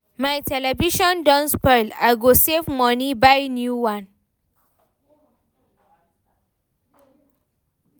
My television don spoil, I go save moni buy new one.